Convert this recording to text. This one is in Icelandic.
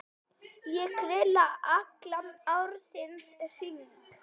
Ég grilla allan ársins hring.